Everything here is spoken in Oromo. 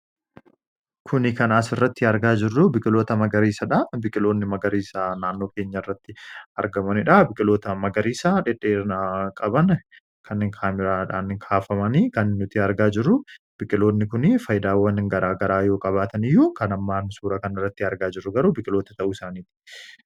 kuni kanaas irratti argaa jirru biqiloota magariisaadha biqqiloonni magariisa naannoo keenya irratti argamaniidha biqqiloota magariisaa dhedheena qaban kan in kaamiraadhaanhi kaafamanii kan nutii argaa jiru biqqiloonni kunii faaydaawwan garaagaraa yoo qabaatan iyyuu kanammaan suura kan irratti argaa jirru garuu biqiloota ta'uu isaaniiti